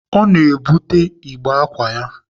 Ọ na-ebute igbe ákwà ya.